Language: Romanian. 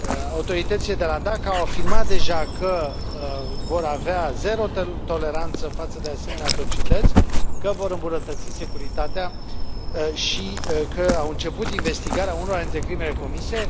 Autoritățile de la Dhaka au afirmat deja că vor avea zero toleranță față de asemenea atrocități, că vor îmbunătăți securitatea și că au început investigarea unora dintre crimele comise.